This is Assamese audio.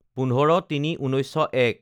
১৫/০৩/১৯০১